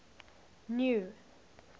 new